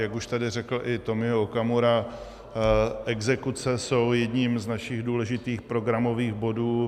Jak už tady řekl i Tomio Okamura, exekuce jsou jedním z našich důležitých programových bodů.